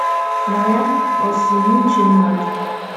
na ya ò si n’uche mmadụ?